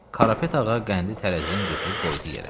Qarapet ağa qəndi tərəzidən götürüb qoydu yerə.